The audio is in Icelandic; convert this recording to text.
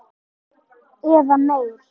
Eða meir.